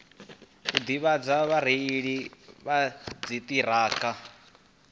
u ḓivhadza vhareili vha dziṱhirakha